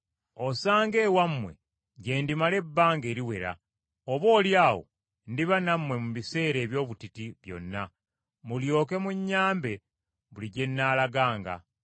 Osanga ewammwe gye ndimala ebbanga eriwera, oboolyawo ndiba nammwe mu biseera eby’obutiti byonna, mulyoke munnyambe buli gye nnaalaganga.